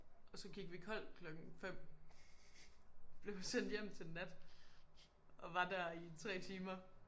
Og så gik vi kold klokken 5. Blev vi sendt hjem til nat og var der i 3 timer